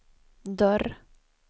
dörr